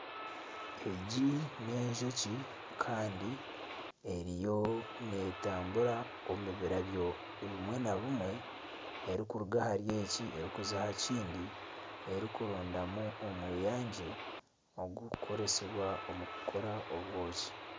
Egi n'enjoki kandi eriyo netambura omu birabyo bimwe na bimwe erikuruga ahari eki erikuza aha kindi erikurondamu omweyangye ogukukoresibwa omu kukora obwoki